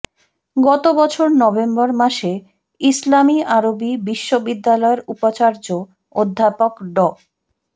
গত বছর নভেম্বর মাসে ইসলামি আরবি বিশ্ববিদ্যালয়ের উপাচার্য অধ্যাপক ড